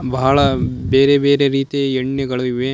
ಬಹಳ ಬೇರೆ ಬೇರೆ ರೀತಿಯ ಎಣ್ಣೆಗಳಿವೆ.